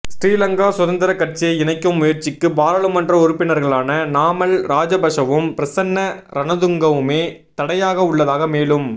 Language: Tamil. ஸ்ரீ லங்கா சுதந்திரக் கட்சியை இணைக்கும் முயற்சிக்கு பாராளுமன்ற உறுப்பினர்களான நாமல் ராஜபக்ஷவும் பிரசன்ன ரணதுங்கவுமே தடையாகவுள்ளதாக மேலும்